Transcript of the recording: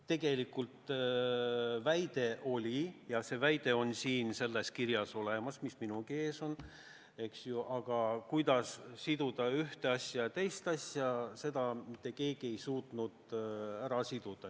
Tegelikult see väide oli ja see väide on olemas ka sellel paberil, mis minulgi ees on, aga kuidas siduda ühte asja ja teist asja, seda mitte keegi ei suutnud ära siduda.